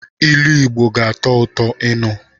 Ilu Igbo ga-atọ ụtọ ịnụ.